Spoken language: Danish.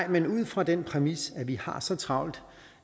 men ud fra den præmis at vi har så travlt